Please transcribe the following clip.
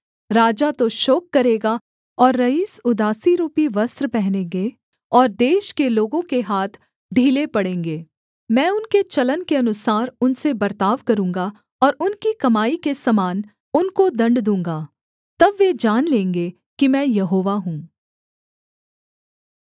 राजा तो शोक करेगा और रईस उदासीरूपी वस्त्र पहनेंगे और देश के लोगों के हाथ ढीले पड़ेंगे मैं उनके चलन के अनुसार उनसे बर्ताव करूँगा और उनकी कमाई के समान उनको दण्ड दूँगा तब वे जान लेंगे कि मैं यहोवा हूँ